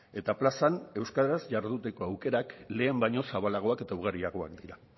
eta plazan euskaraz jarduteko aukerak lehen baino zabalagoak eta ugariagoak dira